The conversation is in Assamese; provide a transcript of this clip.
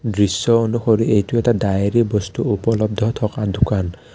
দৃশ্য অনুসৰী এইটো এটা ডায়েৰী বস্তু উপলব্ধ থকা দোকান।